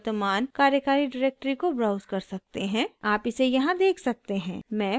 आप इसे यहाँ देख सकते हैं मैं फाइल ब्राउज़र को बंद करुँगी